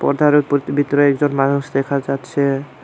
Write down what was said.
পর্দার উপরতে বিতরে একজন মানুষ দেখা যাচ্ছে।